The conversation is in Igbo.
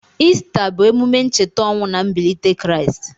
Ista bụ emume ncheta ọnwụ na mbilite Kraịst.